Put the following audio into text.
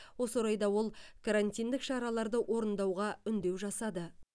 осы орайда ол карантиндік шараларды орындауға үндеу жасады